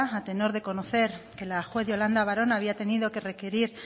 a tenor de conocer que la juez yolanda varona había tenido que requerir